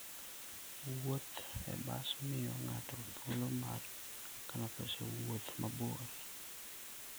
Wuoth e bas miyo ng'ato thuolo mar kano pesa e wuoth mabor.